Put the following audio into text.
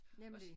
Nemlig